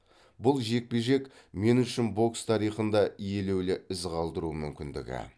бұл жекпе жек мен үшін бокс тарихында елеулі із қалдыру мүмкіндігі